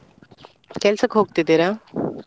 ಕೆಲ್ಸಕ್ಕೆ ಹೋಗ್ತಿದ್ದೀರಾ?